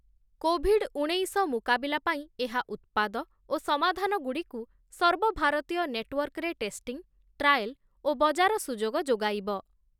Covid ଉଣେଇଶ ମୁକାବିଲା ପାଇଁ ଏହା ଉତ୍ପାଦ ଓ ସମାଧାନଗୁଡ଼ିକୁ ସର୍ବଭାରତୀୟ ନେଟୱର୍କରେ ଟେଷ୍ଟିଂ, ଟ୍ରାଏଲ ଓ ବଜାର ସୁଯୋଗ ଯୋଗାଇବ ।